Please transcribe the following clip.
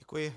Děkuji.